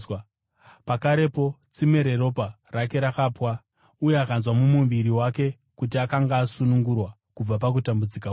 Pakarepo tsime reropa rake rakapwa uye akanzwa mumuviri wake kuti akanga asunungurwa kubva pakutambudzika kwake.